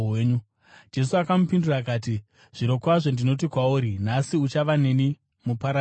Jesu akamupindura akati, “Zvirokwazvo ndinoti kwauri, nhasi uchava neni muparadhiso.”